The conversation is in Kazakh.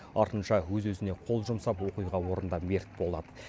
артынша өз өзіне қол жұмсап оқиға орнында мерт болады